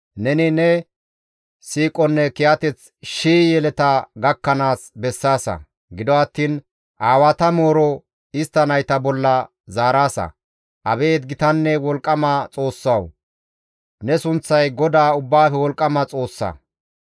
Neni ne siiqonne kiyateth shii yeleta gakkanaas bessaasa; gido attiin aawata mooro istta nayta bolla zaaraasa. Abeet gitanne wolqqama Xoossawu! Ne sunththay GODAA Ubbaafe Wolqqama Xoossa.